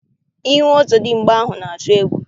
Ihu ọzọdịmgba ahụ na-atụ egwu.